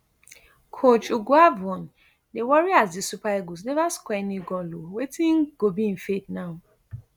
coach eguavoen dy worry as di super eagles neva score any goal ooo wetin go be im fate now